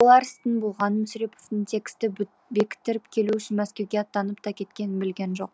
ол болар істің болғанын мүсіреповтің тексті бекіттіріп келу үшін мәскеуге аттанып та кеткенін білген жоқ